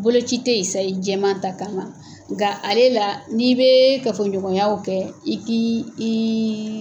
Bolo ci tɛ yen sayi jɛma ta kama, nka ale la n'i bɛ kafoɲɔgɔnyaw kɛ i k'i i.